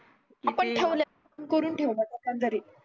आपण ठेवलय स्वतःच घरी